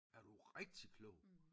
Er du rigtig klog